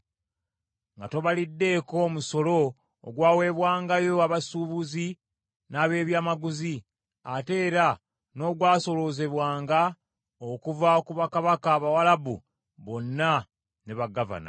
nga tobaliddeeko musolo ogwawebwangayo abasuubuzi n’ab’ebyamaguzi, ate era n’ogwasoloozebwanga okuva ku bakabaka Abawalabu bonna ne bagavana.